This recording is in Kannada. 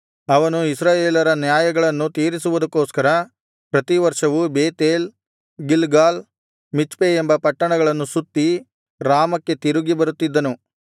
ಅವನು ಇಸ್ರಾಯೇಲರ ನ್ಯಾಯಗಳನ್ನು ತೀರಿಸುವುದಕ್ಕೋಸ್ಕರ ಪ್ರತಿವರ್ಷವೂ ಬೇತೇಲ್ ಗಿಲ್ಗಾಲ್ ಮಿಚ್ಪೆ ಎಂಬ ಪಟ್ಟಣಗಳನ್ನು ಸುತ್ತಿ ರಾಮಕ್ಕೆ ತಿರುಗಿ ಬರುತ್ತಿದ್ದನು